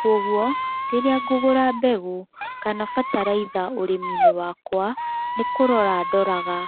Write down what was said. kogwo rĩrĩa ngũgũra mbegũ kana bataraitha ũrĩminĩ wakwa, nĩ kũrora ndoraga